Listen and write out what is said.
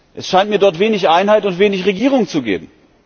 Es scheint mir dort wenig Einheit und wenig Regierung zu geben.